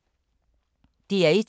DR1